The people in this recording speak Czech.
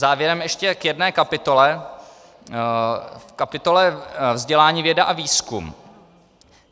Závěrem ještě k jedné kapitole, kapitole Vzdělání, věda a výzkum.